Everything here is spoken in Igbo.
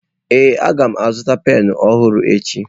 Ee a ga m azụta penụ ọhụrụ echi.